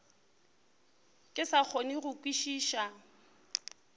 ke sa kgone go kwešiša